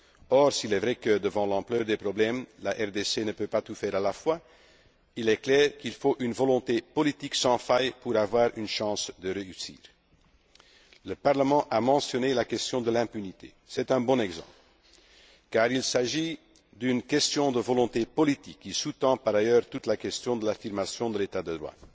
Or, s'il est vrai que, devant l'ampleur des problèmes, la RDC ne peut pas tout faire à la fois, il est clair qu'il faut une volonté politique sans faille pour avoir une chance de réussir. Le Parlement a mentionné la question de l'impunité. C'est un bon exemple, car il s'agit d'une question de volonté politique qui sous tend par ailleurs toute la question de l'affirmation de l'état de